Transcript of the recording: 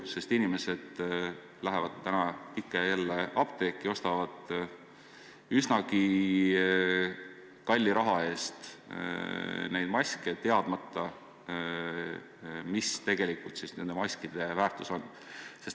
Sest inimesed lähevad ikka ja jälle apteeki ning ostavad üsna kalli raha eest neid maske, teadmata, mis on nende tegelik väärtus.